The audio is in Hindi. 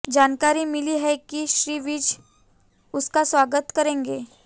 जानकारी मिली है कि श्री विज उनका स्वागत करेंगे